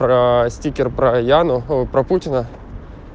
про стикер про яну про путина